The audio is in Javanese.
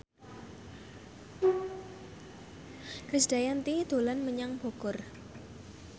Krisdayanti dolan menyang Bogor